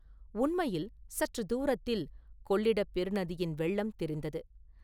உண்மையில் சற்றுத் தூரத்தில் கொள்ளிடப் பெரு நதியின் வெள்ளம் தெரிந்தது.